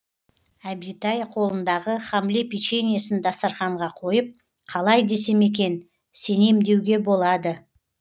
әбитай қолындағы хамле печеньесін дастарханға қойып қалай десем екен сенем деуге болады